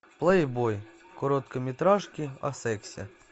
плейбой короткометражки о сексе